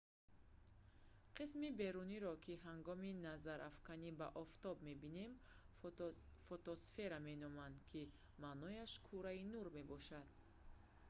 қисми беруниеро ки ҳангоми назарафканӣ ба офтоб мебинем фотосфера меноманд ки маънояш кураи нур мебошад